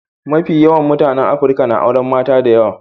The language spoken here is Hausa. Mafi yawan mutanen Afrika na auren mata da yawa.